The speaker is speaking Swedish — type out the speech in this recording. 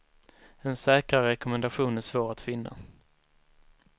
En säkrare rekommendation är svår att finna.